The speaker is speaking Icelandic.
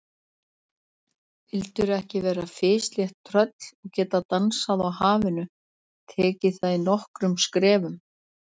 Vildirðu ekki vera fislétt tröll og geta dansað á hafinu, tekið það í nokkrum skrefum?